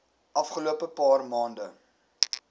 afgelope paar maande